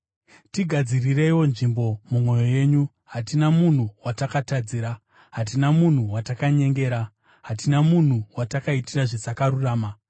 Tigadzirireiwo nzvimbo mumwoyo yenyu. Hatina munhu watakatadzira, hatina munhu watakanyengera, hatina munhu watakaitira zvisakarurama.